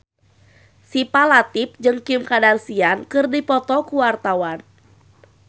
Syifa Latief jeung Kim Kardashian keur dipoto ku wartawan